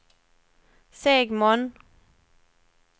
Segmon